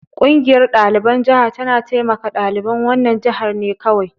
Ƙungiyar ɗaliban jaha tana taimaka ɗaliban wannan jihar ne kawai.